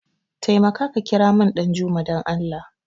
Taimaka ka kiramun Ɗanjuma dan Allah!